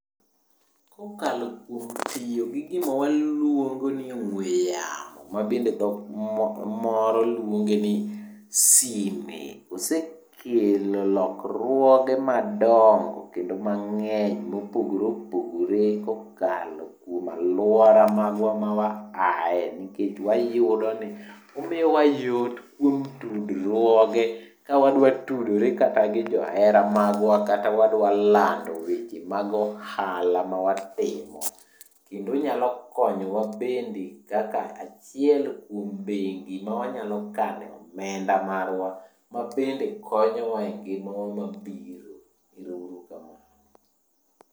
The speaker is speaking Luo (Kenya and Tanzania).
Kokalo kuom tiyo gi gima waluongo ni ong'we yamo ma bende dhok moro luonge ni sime, osekelo lokruoge madongo kendo mang'eny mopogore opogore kokalo kuom alwora magwa mawaaye nikech wayudo ni omiwa yot kuom tudruoge ka wadwa tudore kata gi johera magwa kata wadwa lando weche mag ohala mawatimo. Kendo onyalo konyowa bende kaka achiel kuom bengi ma wanyalo kane omenda marwa mabende konyowa e ngimawa mabiro, ero uru kamano.